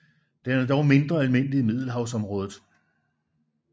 Den er dog mindre almindelig i Middelhavsområdet